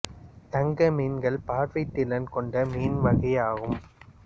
தங்க மீன்கள் பார்வை திறன் கொண்ட மீன் வகை ஆகும்